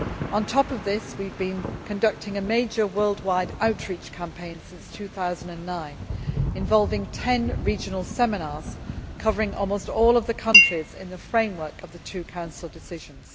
On top of this, we have been conducting a major worldwide outreach campaign since 2009 involving ten regional seminars covering almost all of the countries in the framework of two Council decisions.